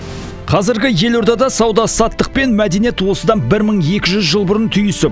қазіргі елордада сауда саттық пен мәдениет осыдан бір мың екі жүз жыл бұрын түйісіп